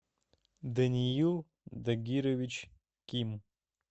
даниил дагирович ким